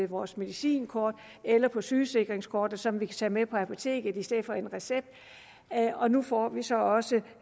vores medicinkort eller sygesikringskort som vi kan tage med på apoteket i stedet for en recept og nu får vi så også